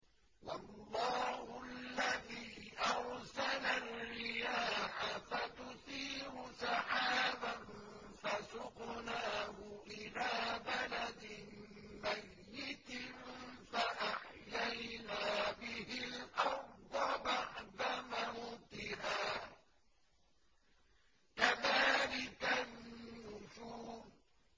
وَاللَّهُ الَّذِي أَرْسَلَ الرِّيَاحَ فَتُثِيرُ سَحَابًا فَسُقْنَاهُ إِلَىٰ بَلَدٍ مَّيِّتٍ فَأَحْيَيْنَا بِهِ الْأَرْضَ بَعْدَ مَوْتِهَا ۚ كَذَٰلِكَ النُّشُورُ